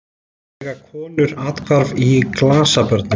Svo eiga konur athvarf í glasabörnum.